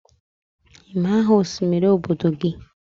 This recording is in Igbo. ị ma aha osimiri obodo gị?